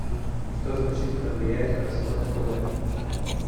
что значительно влияет на расход акб